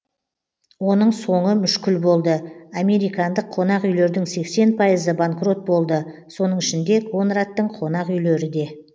оның соңы мүшкіл болды американдық қонақ үйлердің сексен пайызы банкрот болды соның ішінде конрадтың конақ үйлері де